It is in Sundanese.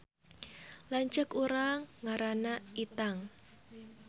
Lanceuk urang ngaranna Itang